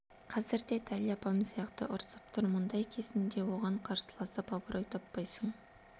қазір де дәл апам сияқты ұрсып тұр мұндай кезінде оған қарсыласып абырой таппайсың